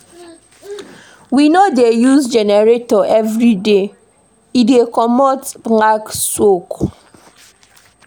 We no dey use generator everyday, e dey comot black smoke.